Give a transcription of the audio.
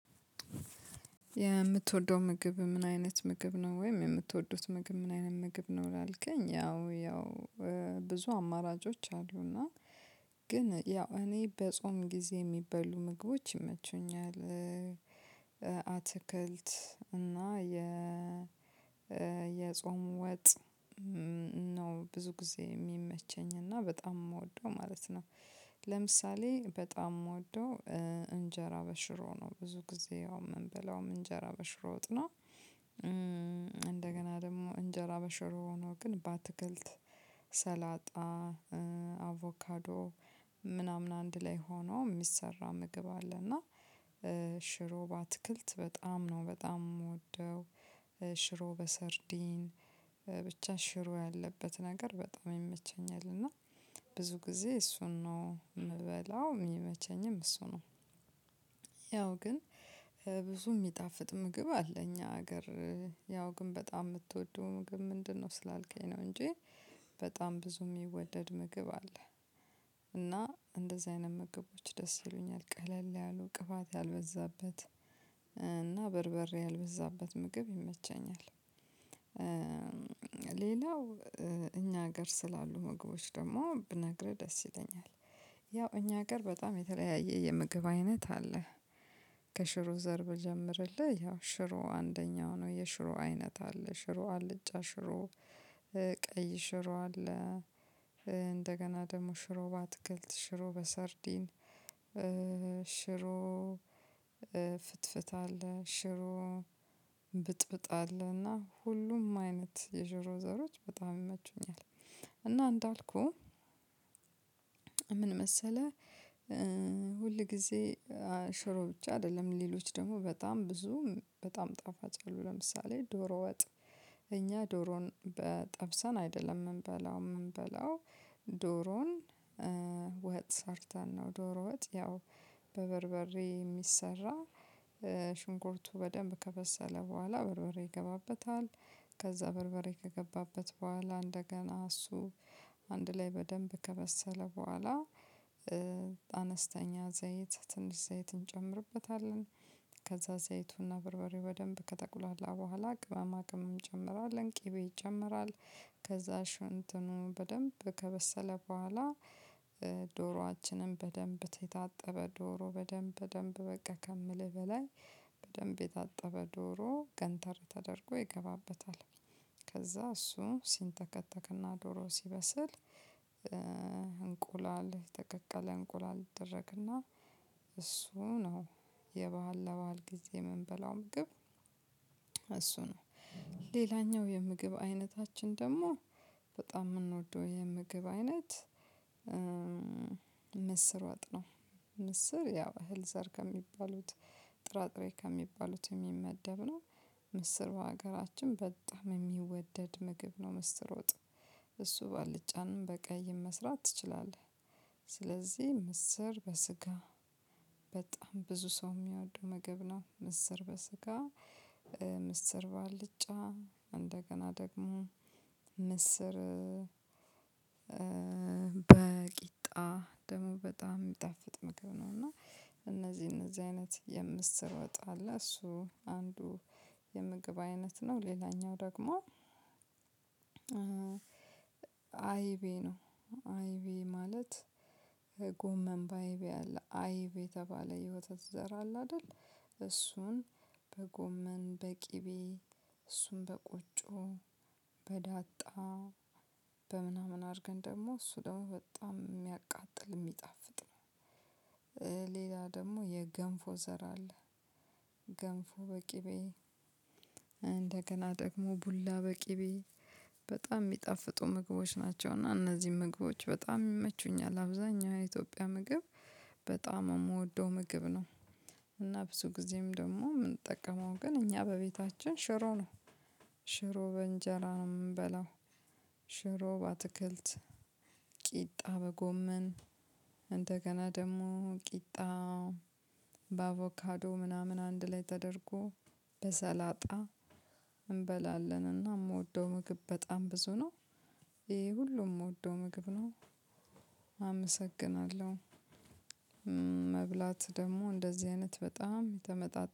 የምትወደው ምግብ ምን አይነት ምግብ ነው ወይም የምትወዱት ምግብ ምን አይነት ምግብ ነው? ላልከኝ ያው ያው ብዙ አማራጮች አሉና ግን ያው እኔ በጾም ጊዜ የሚበሉ ምግቦች ይመቹኛል። አትክልት እና የ የጾም ወጥ ነው ብዙ ጊዜ የሚመቸኝ እና በጣም የምወደው ማለት ነው። ለምሳሌ በጣም የምወደው እንጀራ በሽሮ ነው። ብዙ ጊዜ ያው የምንበላው እንጀራ በሽሮ ወጥ ነው። እንደገና ደግሞ እንጀራ በሽሮ ሆኖ ግን በአትክልት ሰላጣ አቮካዶ ምናምን አንድ ላይ ሆኖ የሚሰራ ምግብ አለ። እና ሽሮ በአትክልት በጣም ነው በጣም የምወደው። ሽሮ በሰርዲን ብቻ ሽሮ ያለበት ነገር በጣም ይመቸኛል እና ብዙ ጊዜ እሱን ነው የምበላው የሚመቸኝም እሱ ነው። ያው ግን ብዙ የሚጣፍጥ ምግብ አለ እኛ ሀገር ያው ግን በጣም የምትወደው ምግብ ምንድነው? ስላልከኝ ነው እንጂ በጣም ብዙ የሚወደድ ምግብ አለ። እና እንደዚህ አይነት ምግቦች ደስ ይሉኛል ቀለል ያሉ ቅባት ያልበዛበት እና በርበሬ ያልበዛበት ምግብ ይመቸኛል። ሌላው እኛ ሀገር ስላሉ ምግቦች ደግሞ ብነግርህ ደስ ይለኛል። ያው እኛ ሀገር በጣም የተለያየ የምግብ አይነት አለ። ከሽሮ ዘር ብጀምርልህ ያው ሽሮ አንደኛው ነው የሽሮ አይነት አለ ሽሮ አልጫ ሽሮ ቀይ ሽሮ አለ። እንደገና ደግሞ ሽሮ በአትክልት ሽሮ በሰርዲን ሽሮ ፍትፍት አለ ሽሮ ብጥብጥ አለ እና ሁሉም አይነት የሽሮ ዘሮች በጣም ይመቹኛል። እና እንዳልኩህ ምን መሰለ ሁል ጊዜ ሽሮ ብቻ አይደለም ሌሎች ደግሞ በጣም ብዙ በጣም ጣፋጭ አሉ። ለምሳሌ ዶሮ ወጥ እኛ ዶሮን ጠብሰን አይደለም የምንበላው የምንበላው ዶሮን ወጥ ሰርተን ነው። ዶሮ ወጥ ያው በበርበሬ የሚሰራ ሽንኩርቱ በደንብ ከበሰለ በኋላ በርበሬ ይገባበታል። ከዛ በርበሬ ከገባበት በኋላ እንደገና እሱ አንድ ላይ በደንብ ከበሰለ በኋላ። አነስተኛ ዘይት ትንሽ ዘይት እንጨምርበታለን። ከዛ ዘይቱና በርበሬው በደንብ ከጠቁላላ በኋላ ቅባማ ቅምም ይጨምራል ቅቤ ይጨመራል። ከዛ ሽንትኑ በደንብ ከበሰለ በኋላ። ዶሮአችንም በደንብ የታጠበ ዶሮ በደንብ በደንብ ከምልህ በላይ በደንብ የታጠበ ዶሮ ገንተር ተደርጎ ይገባበታል። ከዛ እሱ ሲንተከተክና ዶሮ ሲበስል። እንቁላል የተቀቀለ እንቁላል ይደረግና እሱ ነው። የበአል ለበአል ጊዜ የምንበላው ምግብ። እሱ ነው። ሌላኛው የምግብ አይነታችን ደግሞ በጣም የምንወደው የምግብ አይነት ምስር ወጥ ነው። ምስር ያው እህል ዘር ከሚባሉት ጥራጥሬ ከሚባሉት የሚመደብ ነው። ምስር በሀገራችን በጣም የሚወደድ ምግብ ነው ምስር ወጥ። እሱ ባልጫንም በቀይም መስራት ትችላለህ። ስለዚህ ምስር በስጋ በጣም ብዙ ሰው የሚያወዱ ምግብ ነው። ምስር በስጋ ምስር ባልጫ እንደገና ደግሞ ምስር በቂጣ ደሞ በጣም የሚጣፍጥ ምጎግብ ነው። እና እነዚህ እነዚህ አይነት የምስር ወጥ አለ እሱ አንዱ የምግብ አይነት ነው። ሌላኛው ደግሞ አይቤ ነው። አይቤ ማለት ጎመን በአይብ ያለ አይብ የተባለ የውተት ዘር አለ አይደል እሱን በጎመን በቅቤ እሱን በቆጮ በዳጣ በምናምን አድርገን ደግሞ እሱ ደግሞ በጣም የሚያቃጥል የሚጣፍጥ ነው። ሌላ ደግሞ የገንፎ ዘር አለ። ገንፎ በቅቤ እንደገና ደግሞ ቡላ በቅቤ በጣም የሚጣፍጡ ምግቦች ናቸው። እና እነዚህን ምግቦች በጣም ይመቹኛል። አብዛኛው የኢትዮጵያ ምግብ በጣም የምወደው ምግብ ነው። እና ብዙ ጊዜም ደግሞ የምንጠቀመው ግን እኛ በቤታችን ሽሮ ነው። ሽሮ በእንጀራ ነው የምንበላው። ሽሮ በአትክልት ቂጣ በጎመን እንደገና ደግሞ ቂጣ በአቮካዶ ምናምን አንድ ላይ ተደርጎ በሰላጣ እንበላለንና እና የምወደው ምግብ በጣም ብዙ ነው። ይሄ ሁሉም የምወደው ምግብ ነው። አመሰግናለሁ መብላት ደግሞ እንደዚህ አይነት በጣም የተመጣጠነ